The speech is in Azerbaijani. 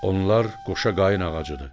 Onlar qoşa qayın ağacıdır.